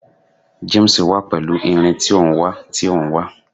James wa pẹlu irin ti o n wa ti o n wa